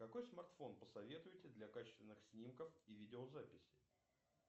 какой смартфон посоветуете для качественных снимков и видео записей